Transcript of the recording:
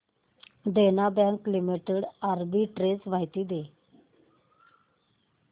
देना bank limited arbitrage माहिती दे